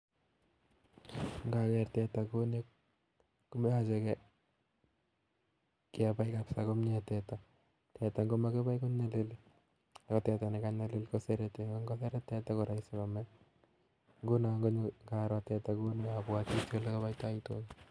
Ngager teta kouni koyoche kebai kabisa komye teta, teta ngomakibai konyalili ako teta nekanyalil kosereti ako ngoseret teta koraisi kome nguno ngaroo teta kouni abwoti ele aboitoi tuga